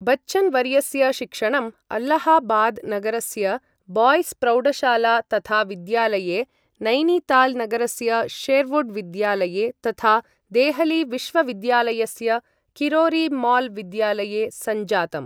बच्चन् वर्यस्य शिक्षणं अल्लाहाबाद् नगरस्य बाय्स् प्रौढशाला तथा विद्यालये, नैनिताल् नगरस्य शेर्वुड् विद्यालये, तथा देहली विश्वविद्यालयस्य किरोरि माल् विद्यालये सञ्जातम्।